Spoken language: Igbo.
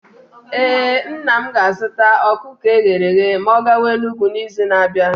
Ee, nna m ga-azụta ọkụkọ eghere eghe ma ọ gawa Enugwu n’izu na-abịa.